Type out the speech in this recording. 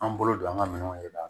An bolo don an ŋa minɛnw de la